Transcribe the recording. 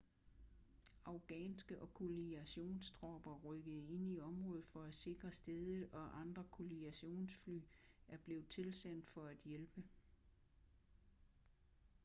afghanske- og koalitionstropper rykkede ind i området for at sikre stedet og andre koalitionsfly er blevet tilsendt for at hjælpe